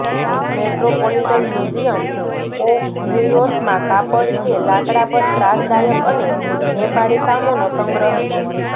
metropolitan Museum of New યોર્કમાં કાપડ કે લાકડા પર ત્રાસદાયક અને નેપાળી કામોનો સંગ્રહ છે